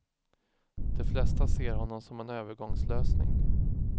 De flesta ser honom som en övergångslösning.